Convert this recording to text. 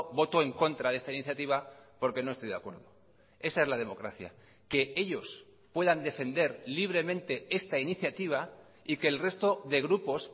voto en contra de esta iniciativa porque no estoy de acuerdo esa es la democracia que ellos puedan defender libremente esta iniciativa y que el resto de grupos